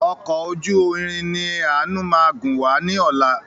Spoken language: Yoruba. Ọkọ̀ ojú irin ni ànu máa gun wá ní ọ̀la.